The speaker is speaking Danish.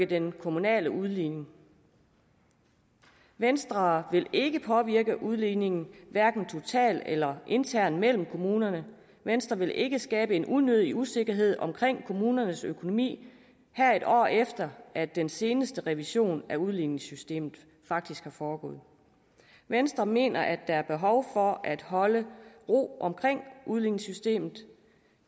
den kommunale udligning venstre vil ikke påvirke udligningen hverken totalt eller internt mellem kommunerne venstre vil ikke skabe en unødig usikkerhed om kommunernes økonomi her et år efter at den seneste revision af udligningssystemet faktisk er foregået venstre mener at der er behov for at holde ro om udligningssystemet